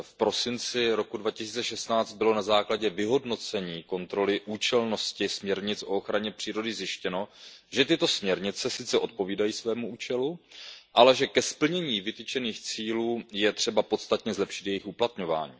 V prosinci roku 2016 bylo na základě vyhodnocení kontroly účelnosti směrnic o ochraně přírody zjištěno, že tyto směrnice sice odpovídají svému účelu, ale že ke splnění vytyčených cílů je třeba podstatně zlepšit jejich uplatňování.